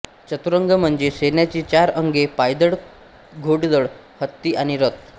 चतुरंग म्हणजे सैन्याची चार अंगे पायदळ घोडदळ हत्ती आणि रथ